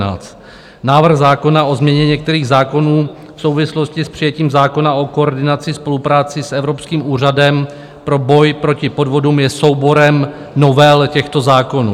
Návrh zákona o změně některých zákonů v souvislosti s přijetím zákona o koordinaci spolupráce s Evropským úřadem pro boj proti podvodům je souborem novel těchto zákonů.